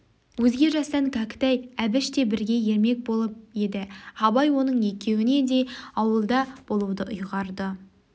өзге жастан кәкітай әбіш те бірге ермек болып еді абай оның екеуіне де ауылда болуды үйғарды